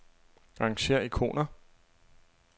Arrangér ikoner.